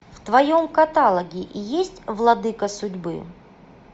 в твоем каталоге есть владыка судьбы